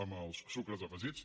amb els sucres afegits